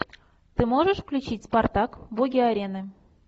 ты можешь включить спартак боги арены